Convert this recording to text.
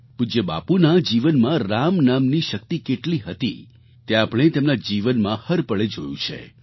પૂજ્ય બાપુના જીવનમાં રામ નામની શક્તિ કેટલી હતી તે આપણે તેમના જીવનમાં હર પળે જોયું છે